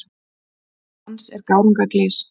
Dans er gárunga glys.